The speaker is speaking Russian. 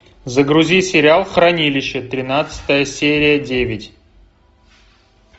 загрузи сериал хранилище тринадцатая серия девять